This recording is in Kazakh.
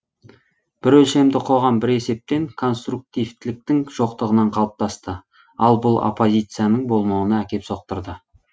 бір өлшемді қоғам бір есептен конструктивтіліктің жоқтығынан қалыптасты ал бұл оппозицияның болмауына әкеп соқтырды